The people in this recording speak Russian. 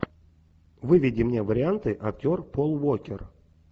выведи мне варианты актер пол уокер